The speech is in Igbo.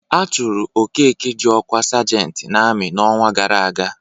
A chụrụ Okeke ji ọkwa sajentị n'amị n'ọnwa gara aga.